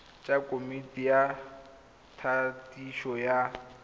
tsa komiti ya thadiso ya